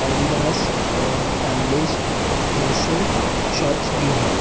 Adidas और Hamleys जैसे shops भी है।